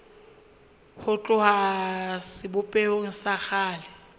ho tloha sebopehong sa kgale